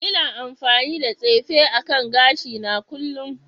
Ina amfani da tsefe akan gashina kullun